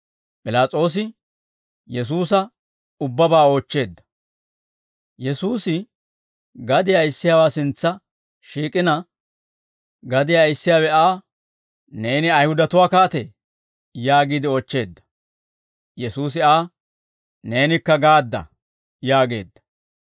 Yesuusi gadiyaa ayissiyaawaa sintsa shiik'ina, gadiyaa ayissiyaawe Aa, «Neeni Ayihudatuwaa kaatee?» yaagiide oochcheedda. Yesuusi Aa, «Neenikka gade'aa» yaageedda.